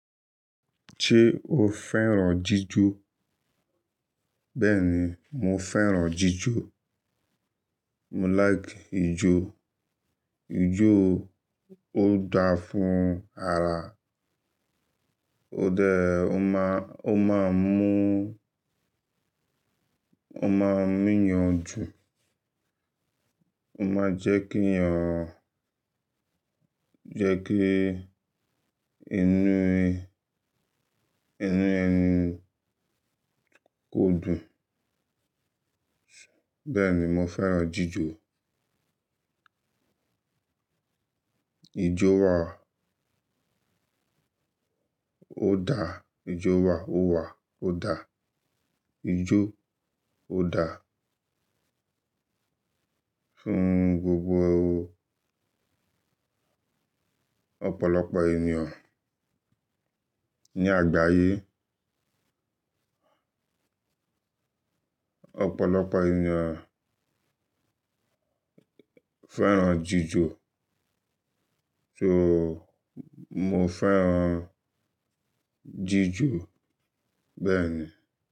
Ṣé o fẹ́ràn jíjọ? Bẹ́ẹ̀ni, mo fẹ́ràn jíjọ. Mo like ijó. Ijó ó dáa fún ara. Ó dá-- ó máa, ó máa mú, ó máa mú ènìyàn jù. Ó máa jẹ́ kí ẹ̀yàn, jẹ́ kí inú, inú ẹni kó dùn. Bẹ́ẹ̀ni, mo fẹ́ràn jíjọ. Ijó wa ó dáa. Ijó wa ó wà, ó dáa. Ijó ó dáa fún gbogbo ọ̀pọ̀lọpọ̀ ènìyàn ní àgbáyé. Òpòlopò ènìyàn fẹ́ràn jíjọ, so mo fẹ́ràn jíjọ bẹ́ẹ̀ ni.